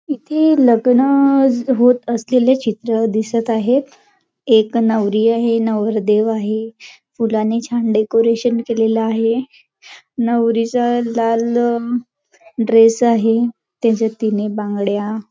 इथे लग्न होत असलेले चित्र दिसत आहे एक नवरी आहे नवर देव आहे फुलाने छान डेकोरेशन केलेल आहे नवरीच लाल ड्रेस आहे त्याच्यात तीने बांगड्या --